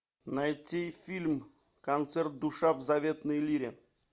найти фильм концерт душа в заветной лире